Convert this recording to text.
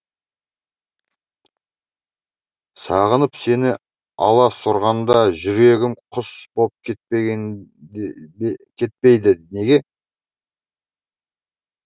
сағынып сені аласұрғанда жүрегім құс боп кетпейді неге